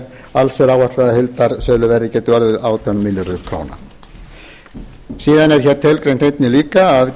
alls er áætlað að heildarsöluverðið geti orðið átján milljarðar króna síðan er hér tilgreint einnig líka að